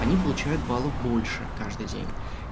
они получают баллов больше каждый день